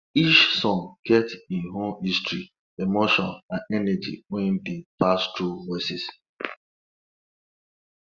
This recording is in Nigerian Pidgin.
each song get im own history emotion and energy wey dey pass through voices